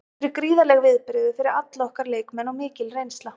Þetta eru gríðarleg viðbrigði fyrir alla okkar leikmenn og mikil reynsla.